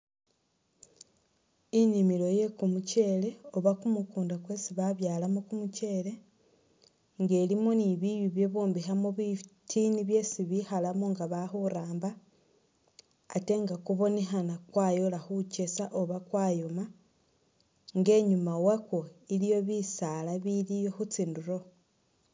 Inimilo ye'kumuchele oba kumukunda kwesi babyalamo kumucheli nga ilimo ni biiyu bye'bombokhamo bitiini byesi bekhalamo nga bali khuramba ate nga kubonekhana kwayoola khukeesa oba kwayooma nga inyuma wakwo iliyo bisaala biliyo khutsindulo